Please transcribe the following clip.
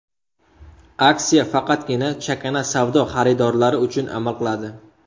Aksiya faqatgina chakana savdo xaridorlari uchun amal qiladi.